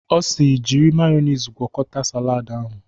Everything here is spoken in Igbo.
Ọ si "jiri mayọnis gwọkọta salad ahụ"